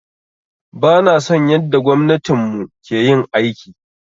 Bana son yanda gwamnatin mu ke yin aiki.